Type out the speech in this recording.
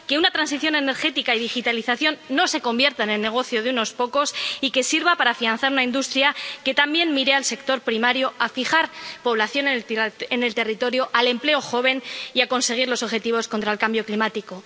que la transición energética y la digitalización no se conviertan en el negocio de unos pocos y que sirvan para afianzar la industria, que también miren al sector primario, a fijar población en el territorio, al empleo joven y a conseguir los objetivos contra el cambio climático.